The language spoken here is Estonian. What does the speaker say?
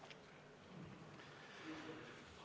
Aitäh!